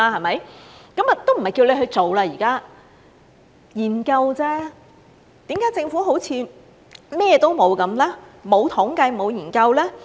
現在也沒有叫他去做，是研究而已，為何政府好像甚麼都沒有，沒有統計，沒有研究？